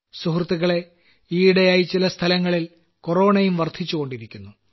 സുഹൃത്തുക്കളേ ഈയിടെയായി ചില സ്ഥലങ്ങളിൽ കൊറോണയും വർദ്ധിച്ചുകൊണ്ടിരിക്കുന്നു